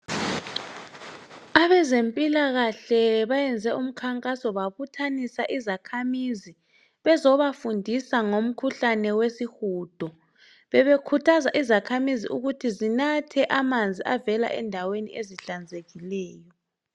Abezempilakahle bayenze umkhankaso babuthanisa izakhamizi bezobafundisa ngomkhuhlane wesihudo bebekhuthaza izakhamizi ukuthi zinathe amanzi avela endaweni ezihlanzekileyo.